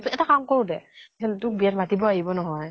এটা কাম কৰো দে তোক বিয়াত মাতিব আহিব নহয়